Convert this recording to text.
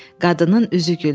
Qadının üzü güldü.